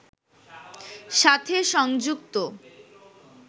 সাথে সংযুক্ত